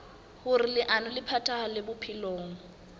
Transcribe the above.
hoer leano le phethahale bophelong